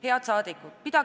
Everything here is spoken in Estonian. Head saadikud!